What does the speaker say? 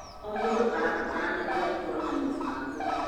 O mũndũ ũrabataranĩka gũkorwo na mũgambo.